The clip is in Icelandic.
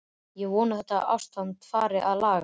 Ég vona að þetta ástand fari að lagast.